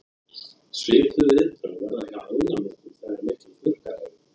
svipuð viðbrögð verða hjá ánamöðkum þegar miklir þurrkar eru